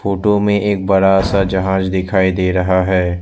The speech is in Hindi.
फोटो में एक बड़ा सा जहाज दिखाई दे रहा है।